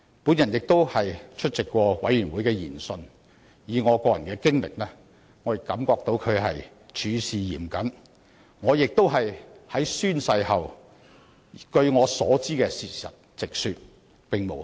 我曾出席調查委員會的研訊，根據我個人經驗，調查委員會處事是嚴謹的，我在宣誓後也直說我所知的事情，並無虛言。